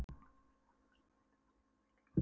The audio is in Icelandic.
spurði afi, og stóra höndin fann hvirfilinn á Lóu Lóu.